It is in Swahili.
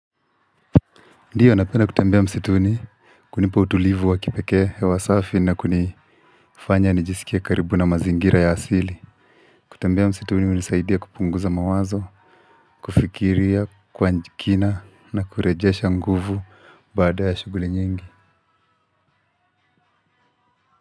Ndiyo napenda kutembea msituni kunipa utulivu wa kipeke hewa safi na kunifanya nijiskie karibu na mazingira ya asili. Kutembea msituni hunisaidia kupunguza mawazo, kufikiria, kwa kina na kurejesha nguvu baada ya shughuli nyingi.